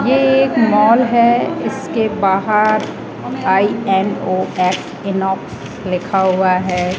ये एक मॉल है इसके बाहर आई_एम_ओ_स इमोफ लिखा हुआ है।